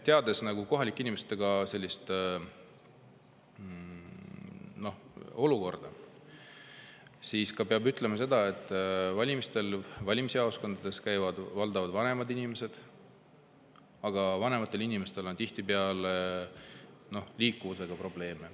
Teades kohalike inimeste olukorda, peab ütlema seda, et valimisjaoskondades käivad valdavalt vanemad inimesed, aga vanematel inimestel on tihtipeale liikumisega probleeme.